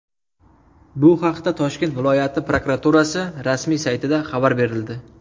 Bu haqda Toshkent viloyati prokuraturasi rasmiy saytida xabar berildi .